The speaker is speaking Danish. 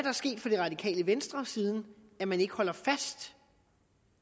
er sket for det radikale venstre siden man ikke holder fast